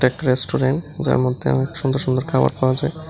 Restaurant যার মধ্যে অনেক সুন্দর সুন্দর খাবার পাওয়া যায়।